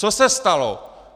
Co se stalo?